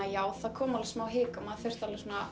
já það kom smá hik og maður þurfti